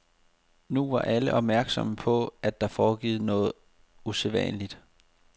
Nu var alle opmærksomme på, at der foregik noget usædvanligt.